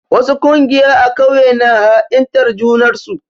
Wasu ƙungiya a ƙauye na ha'intar junar su.